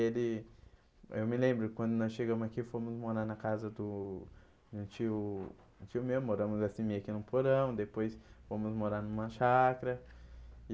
Ele eu me lembro que quando nós chegamos aqui, fomos morar na casa do de um tio um tio meu, moramos assim meio que no porão, depois fomos morar numa chácara.